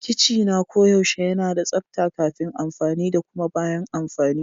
Kicina koyaushe yana da tsabta kafin amfani da kuma bayan amfani.